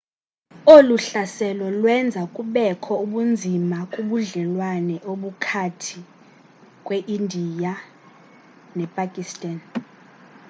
olu hlaselo lwenza kubekho ubunzima kubudlelwane obukhathi kweindiya nepakistan